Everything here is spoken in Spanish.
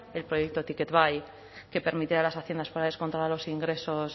el proyecto ticketbai que permite a las haciendas forales controlar los ingresos